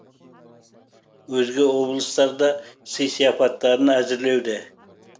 өзге облыстар да сый сыяпаттарын әзірлеуде